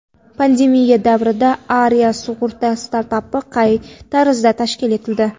Pandemiya davrida Aria sug‘urta startapi qay tarzda tashkil etildi.